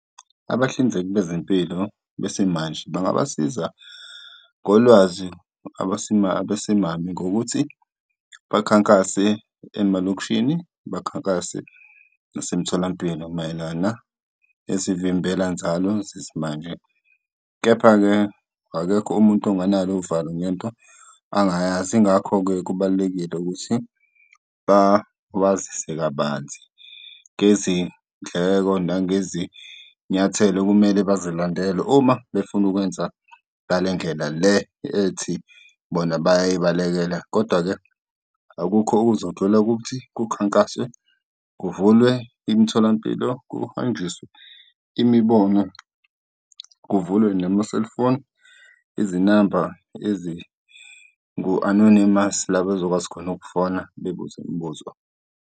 Abahlinzeki bezempilo besimanje bangabasiza ngolwazi abesimame ngokuthi bakhankase emalokishini bakhankase nasemtholampilo mayelana nezivimbelanzalo zesimanje. Kepha-ke, akekho umuntu onganalo uvalo ngento angayazi. Yingakho-ke kubalulekile ukuthi babazise kabanzi ngezindleko nangezinyathelo okumele bazilandele uma befuna ukwenza ngale ndlela le ethi bona bayayibalekela. Kodwa-ke akukho okuzodlula ukuthi kukhankaswe, kuvulwe imitholampilo, kuhanjiswe imibono, kuvulwe nama-cellphone, izinamba ezingu-anonymous, la bazokwazi khona ukufona bebuze imibuzo.